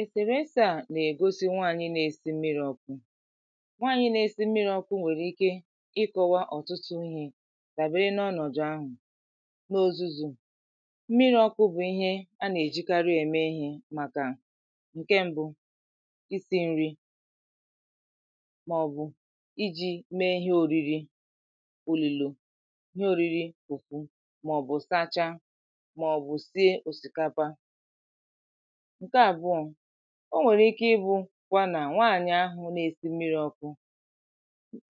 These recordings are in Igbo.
èsèrèsè à nà-ègosi nwaànyị nȧ-esi mmiri ọkụ̇. nwaanyị na esi mmiri ọkụ nwere ike ịkọ̇wa ọ̀tụtụ ihe dàbere na ọnọdụ ahu. n’ ozuzu̇ mmiri ọkụ̇ bụ̀ ihe a nà-èjikara ème ihė màkà ǹke mbụ̇; isi̇ nri màọ̀bụ̀ iji̇ mee ihe òriri òlìlò, ihe òriri fùfù màọ̀bụ̀ sachaa osikapa. ǹke àbụ̀ọ̀; o nwèrè ike ịbụ̇ kwa nà nwaànyị̀ ahụ̀ na-èsi mmiri ọkụ̇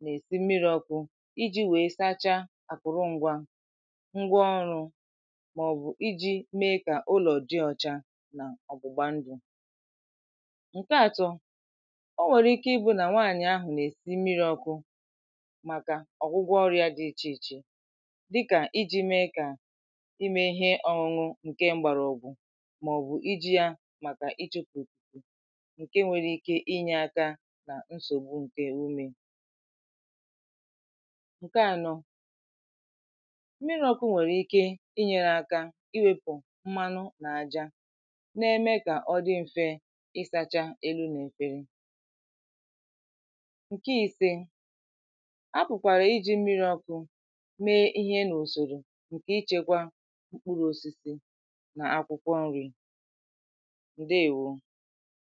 nà-èsi mmiri ọkụ̇ iji̇ wèe sachaa àpụ̀rụ ngwȧ, ngwa ọrụ̇ màọ̀bụ̀ iji̇ mee kà ụlọ̀ dị ọcha nà ọ̀gbụ̀gba ndụ̀. ǹke atọ̇; o nwèrè ike ịbụ̇ nà nwaànyị̀ ahụ̀ nà-èsi mmiri ọkụ̇ màkà ọ̀gwụgwọ ọria yȧ dị ichè ichè dịkà iji̇ mee kà ime ihe ọ̇ṅụ̇ nke mgbàrà ọ̀bụ̀ màọbụ̀ iji yȧ màkà iji̇ jụ̀pụ̀ ǹke nwere ike inyė aka nà nsògbụ ǹke ume. nke ànọ mmiri ọkụ̇ nwèrè ike inyė n’aka iwepụ̀ mmanụ nà aja na-eme kà ọ dị m̀fe ịsȧcha elu nà efere. ǹke isė; apụ̀kwàrà iji̇ mmiri ọkụ̇ mee ihe nà usòrò ǹkè ichekwa mkpụrụ osisi ǹdewo